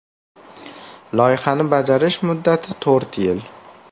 Loyihani bajarish muddati to‘rt yil.